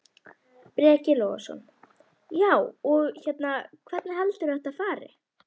Breki Logason: Já, og hérna, hvernig heldurðu að þetta fari?